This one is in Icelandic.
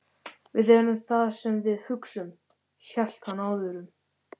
Við erum það sem við hugsum- hélt hann áfram.